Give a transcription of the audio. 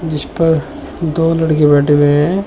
इस पर दो लड़के बैठे हुए हैं।